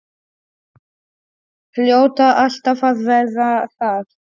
Hljóta alltaf að verða það.